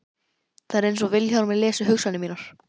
Það er einsog Vilhjálmur lesi hugsanir mínar.